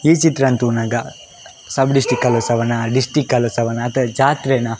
ಈ ಚಿತ್ರನ್ ತೂನಗ ಅತ್ತ್ ಜಾತ್ರೆನ.